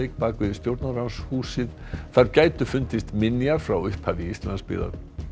bak við Stjórnarráðshúsið þar gætu fundist minjar frá upphafi Íslandsbyggðar